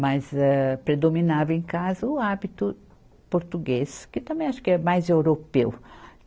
mas âh predominava em casa o hábito português, que também acho que é mais europeu.